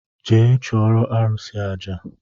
Jee chụụrụ arụsị aja!